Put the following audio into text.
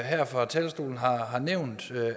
her fra talerstolen har har nævnt